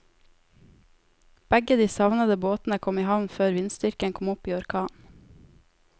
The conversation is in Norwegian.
Begge de savnede båtene kom i havn før vindstyrken kom opp i orkan.